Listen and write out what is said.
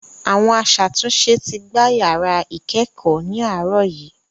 Àwọn aṣàtúnṣe ti gbá yàrá ìkẹ́ẹ̀kọ̀ ní àárọ̀ yìí.